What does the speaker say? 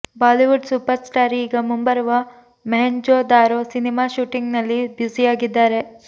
Bollywood super star ಈಗ ಮುಂಬರುವ Mohenjo Daro cinema shooting ನಲ್ಲಿ ಬ್ಯುಸಿಯಾಗಿದ್ದಾರೆ